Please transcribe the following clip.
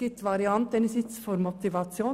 Es gibt einerseits die Variante der Motivation.